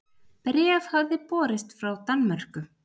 Bréf hafði borist frá Danmörku.